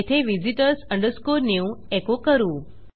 येथे visitors new एको करू